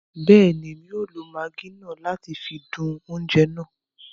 Bẹẹni, Èmí o lo Maggi náà láti fi dùn oúnjẹ náà